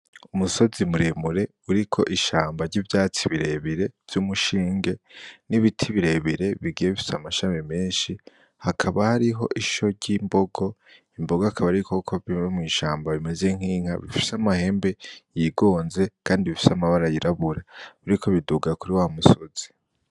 Umusozi muremure uriko ishamba ry'ivyatsi birebire vy'umushinge n'ibiti birebire bigiye bifise amashami menshi hakaba hariho isho ryimbogo , imbogo akaba ari ibikoko biba mw’ ishamba bimeze nk'inka bifise amahembe yigonze kandi bifise amabara yirabura biriko biduga kuri wa musozi.